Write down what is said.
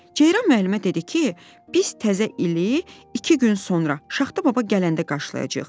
Ceyran müəllimə dedi ki, biz təzə ili iki gün sonra Şaxta Baba gələndə qarşılayacağıq.